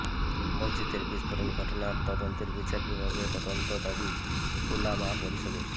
মসজিদের বিস্ফোরণ ঘটনা তদন্তে বিচার বিভাগীয় তদন্ত দাবি ওলামা পরিষদের